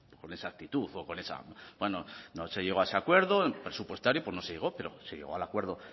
con esa actitud o con esta bueno no se llegó a ese acuerdo presupuestario pues no se llegó pero se llegó al acuerdo